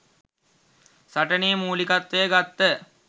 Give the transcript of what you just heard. සටනේ මුලිකත්වය ගත්ත